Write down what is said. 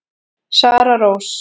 Sara Rós.